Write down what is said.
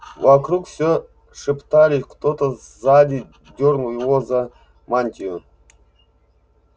вокруг всё шептались кто-то сзади дёрнул его за мантию